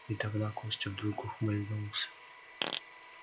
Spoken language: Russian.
и тогда костя вдруг ухмыльнулся